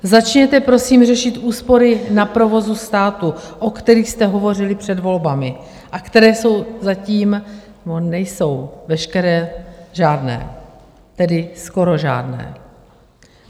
Začněte prosím řešit úspory na provozu státu, o kterých jste hovořili před volbami a které jsou zatím - nebo nejsou - veškeré žádné, tedy skoro žádné.